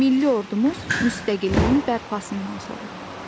Milli ordumuz müstəqilliyin bərpasından sonra.